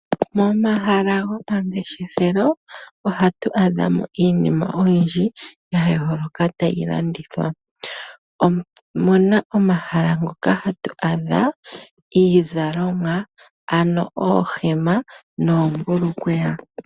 Momahala gomangeshefelo ohatu adha mo iinima oyindji yayooloka tayi landithwa. Omuna omahala ngoka hatu adha iizalomwa ano oohema noombulukweya.